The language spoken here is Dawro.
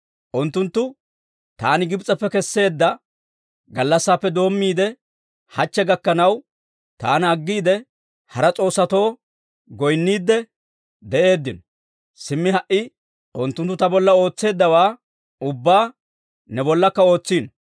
Unttunttu taani Gibs'eppe kesseedda gallassaappe doommiide, hachche gakkanaw taana aggiide, hara s'oossatoo goynniidde de'eeddino; simmi ha"i unttunttu ta bolla ootseeddawaa ubbaa ne bollakka ootsino.